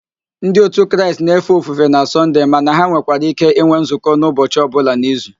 Ndi òtù Kraịst na-efe ofufe na Sọnde mana ha nwekwara íké ịnwe nzukọ n'ụbọchi ọbụla n'izu